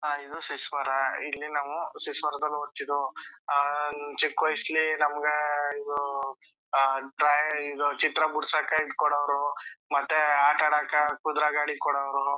ಅಹ್ ಇದು ಶೀಶ್ವರ ಇಲ್ಲಿ ನಾವು ಶೀಶ್ವರದಲ್ಲಿ ವೊತಿದ್ವು ಚಿಕ್ಕಾವಯ್ಸಲ್ಲಿ ನಮಗ ಇದು ಚಿತ್ರ ಬಿಡಿಸಾಕ ಕೊಡವರು ಮತ್ತೆ ಆಟ ಆಡಾಕ ಕುದರೆ ಗಾಡಿ ಕೊಡವರು.